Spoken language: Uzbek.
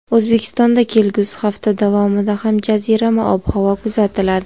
O‘zbekistonda kelgusi hafta davomida ham jazirama ob-havo kuzatiladi.